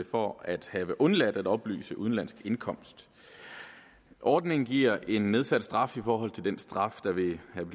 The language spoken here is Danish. for at have undladt at oplyse om udenlandsk indkomst ordningen giver en nedsat straf i forhold til den straf der ville have